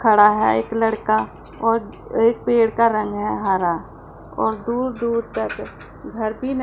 खड़ा है एक लड़का और एक पेड़ का रंग है हरा और दुर दुर तक घर भी--